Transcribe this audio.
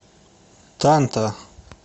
танта